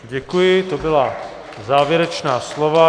Děkuji, to byla závěrečná slova.